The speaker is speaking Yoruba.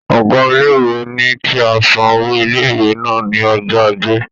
Ọ̀gá ilé-ìwé ní kí a san owó ilé-ìwé wa ní ọjọ́ Ajé.